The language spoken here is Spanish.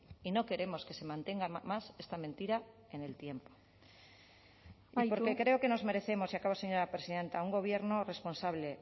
y no queremos que se mantenga más esta mentira en el tiempo amaitu y porque creo que nos merecemos y acabo señora presidenta un gobierno responsable